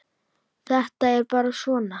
Þetta er bara svona.